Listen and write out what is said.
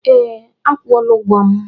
Ee, a kwụọla ụgwọ m.